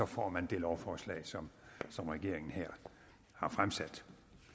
får man det lovforslag som som regeringen her har fremsat